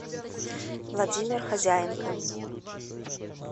владимир хозяенко